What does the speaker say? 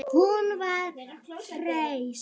Hún var hress.